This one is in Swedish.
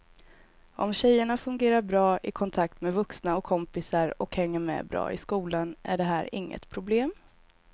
Om tjejerna fungerar bra i kontakt med vuxna och kompisar och hänger med bra i skolan är det här inget problem.